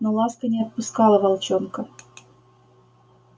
но ласка не отпускала волчонка